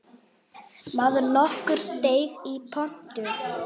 Maður nokkur steig í pontu.